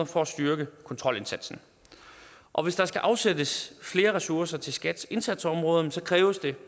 for at styrke kontrolindsatsen og hvis der skal afsættes flere ressourcer til skats indsatsområde så kræver det